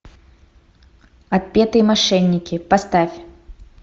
отпетые мошенники поставь